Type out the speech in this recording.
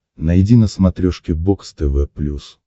найди на смотрешке бокс тв плюс